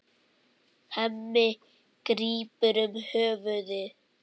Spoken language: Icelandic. Hemmi grípur um höfuð sér.